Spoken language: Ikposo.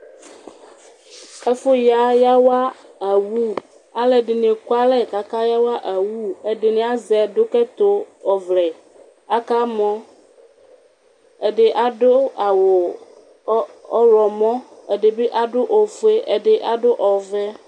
Ɛfʋya yawa awʋ Alʋɛdini amʋ alɛ kʋ aka yawa awʋ Ɛdini azɛ ɛdʋkʋ ɛtʋ ɔvlɛ, akamɔ, ɛdi adʋ awʋ ɔwlɔmɔ, ɛdibi adʋ ofue ɛdibi adʋ ɔvɛ